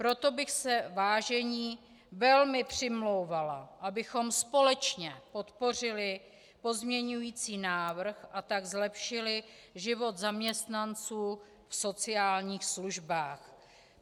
Proto bych se, vážení, velmi přimlouvala, abychom společně podpořili pozměňující návrh, a tak zlepšili život zaměstnanců v sociálních službách.